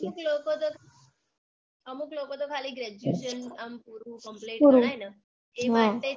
અમુક લોકોતો અમુક લોકોતો ખાલી graduation આમ complete થાય ન એ માટે જ